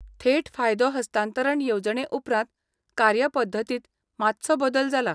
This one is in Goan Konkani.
थेट फायदो हस्तांतरण येवजणे उपरांत कार्यपद्दतींत मात्सो बदल जाला.